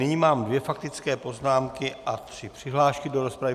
Nyní mám dvě faktické poznámky a tři přihlášky do rozpravy.